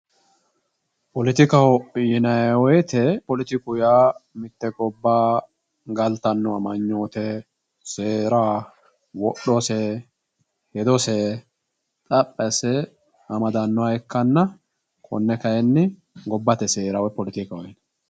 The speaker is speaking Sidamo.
Poletikaho yinayi wooyiite poletiku yaa mitte gobbara galatanno amanyoote seera, wodhose hedos xaphi asse amadannoha ikkanna konne kaayiinni gobbate seera poletikaho yinayi